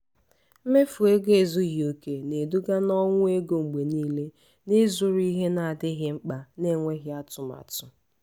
mmefu ego ezughị oke na-eduga na ọnwụ ego mgbe niile n’ịzụrụ ihe na-adịghị mkpa na-enweghị atụmatụ.